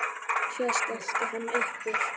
Svo skellti hann upp úr.